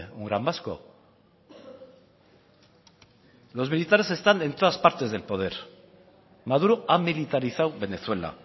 un gran vasco los militares están en todas las partes del poder maduro ha militarizado venezuela